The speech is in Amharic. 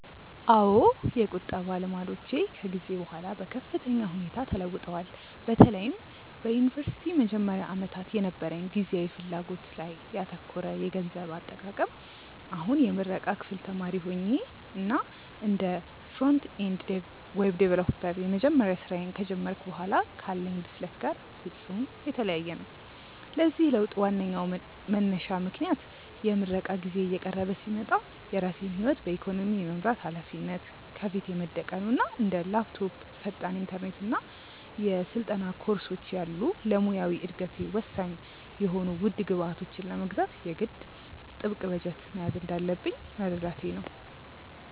አዎ፣ የቁጠባ ልማዶቼ ከጊዜ በኋላ በከፍተኛ ሁኔታ ተለውጠዋል፤ በተለይም በዩኒቨርሲቲ መጀመሪያ ዓመታት የነበረኝ ጊዜያዊ ፍላጎት ላይ ያተኮረ የገንዘብ አጠቃቀም አሁን የምረቃ ክፍል ተማሪ ሆኜ እና እንደ ፍሮንት-ኤንድ ዌብ ዲቨሎፐር የመጀመሪያ ስራዬን ከጀመርኩ በኋላ ካለኝ ብስለት ጋር ፍጹም የተለያየ ነው። ለዚህ ለውጥ ዋነኛው መንሳሽ ምክንያት የምረቃ ጊዜዬ እየቀረበ ሲመጣ የራሴን ህይወት በኢኮኖሚ የመምራት ሃላፊነት ከፊቴ መደቀኑ እና እንደ ላፕቶፕ፣ ፈጣን ኢንተርኔት እና የስልጠና ኮርሶች ያሉ ለሙያዊ እደገቴ ወሳኝ የሆኑ ውድ ግብዓቶችን ለመግዛት የግድ ጥብቅ በጀት መያዝ እንዳለብኝ መረዳቴ ነው።